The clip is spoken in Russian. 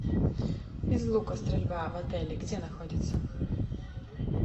из лука стрельба в отеле где находится